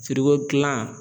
Firiko kila